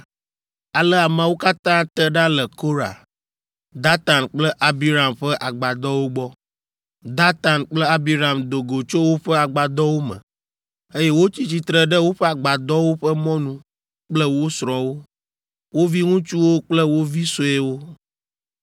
Ale ameawo katã te ɖa le Korah, Datan kple Abiram ƒe agbadɔwo gbɔ. Datan kple Abiram do go tso woƒe agbadɔwo me, eye wotsi tsitre ɖe woƒe agbadɔwo ƒe mɔnu kple wo srɔ̃wo, wo viŋutsuwo kple wo vi suewo.